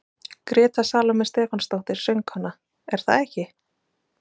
Gréta Salóme Stefánsdóttir, söngkona: Er það ekki?